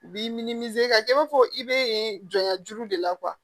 U b'i ka kɛ i b'a fɔ i bɛ yen jɔya juru de la